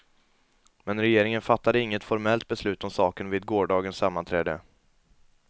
Men regeringen fattade inget formellt beslut om saken vid gårdagens sammanträde.